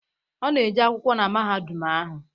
Ọ na-eje akwụkwọ na mahadum ahụ